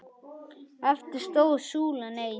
Eftir stóð súlan ein.